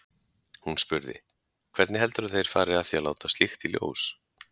Hún spurði: Hvernig heldurðu að þeir færu að því að láta slíkt í ljós?